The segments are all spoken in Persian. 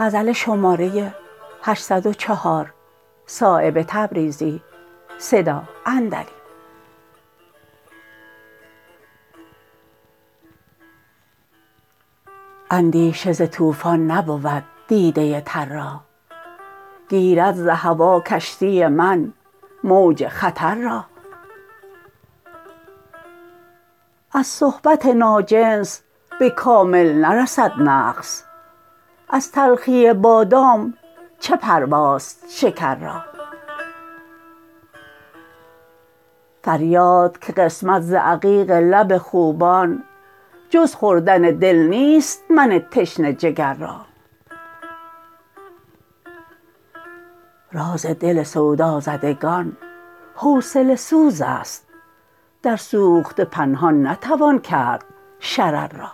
اندیشه ز طوفان نبود دیده تر را گیرد ز هوا کشتی من موج خطر را از صحبت ناجنس به کامل نرسد نقص از تلخی بادام چه پرواست شکر را فریاد که قسمت ز عقیق لب خوبان جز خوردن دل نیست من تشنه جگر را راز دل سودازدگان حوصله سوزست در سوخته پنهان نتوان کرد شرر را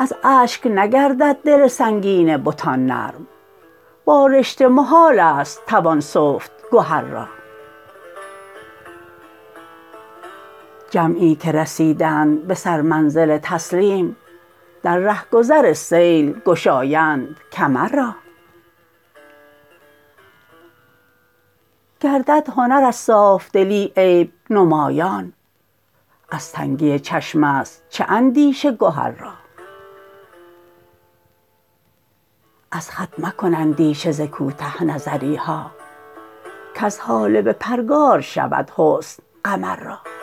از اشک نگردد دل سنگین بتان نرم با رشته محال است توان سفت گهر را جمعی که رسیدند به سر منزل تسلیم در رهگذر سیل گشایند کمر را گردد هنر از صافدلی عیب نمایان از تنگی چشم است چه اندیشه گهر را از خط مکن اندیشه ز کوته نظری ها کز هاله به پرگار شود حسن قمر را